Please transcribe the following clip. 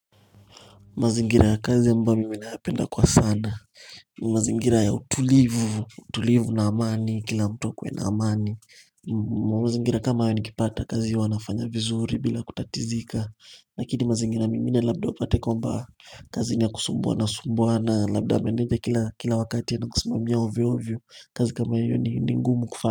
Mazingira ya kazi ambayo mimi nayapenda kwa sana mazingira ya utulivu utulivu na amani kila mtu akuwe na amani mazingira kama hayo nikipata kazi huwa wanafanya vizuri bila kutatizika lakini mazingira mengine labda upate kwamba kazi ni ya kusumbuana sumbuana labda meneja kila kila wakati anakusumamia ovyo ovyo kazi kama hiyo ni ngumu kufa.